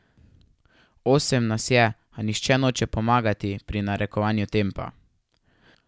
Osem nas je, a nihče noče pomagati pri narekovanju tempa.